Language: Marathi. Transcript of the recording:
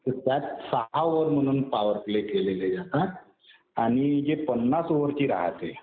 तर त्यात सहा ओव्हर म्हणून पॉवर प्ले केलेले जातात. आणि जी पन्नास ओव्हरची राहते